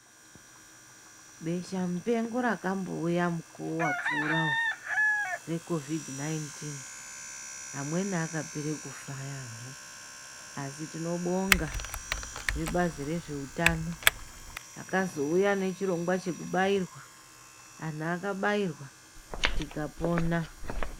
Besha mupengo rakambouya mukuwo wapfuurawo ,vecovhidhi 19,amweni akapera kufa yamho, asi tinobonga vebazi rezveutano akazouya nechirongwa chekubayirwa, anhu akabayirwa tikapona.